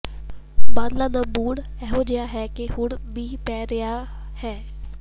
ਬੱਦਲਾਂ ਦਾ ਮੂਡ ਅਜਿਹਾ ਹੈ ਕਿ ਹੁਣ ਮੀਂਹ ਪੈ ਰਿਹਾ ਹੈ